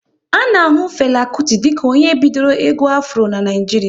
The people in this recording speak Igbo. A na ahu Fela Kuti dịka onye bidoro egwu Afro n'Naijiria